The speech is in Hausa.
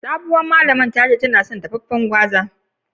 Sabowan malamin tace ta kan son cin dafafen gwaza.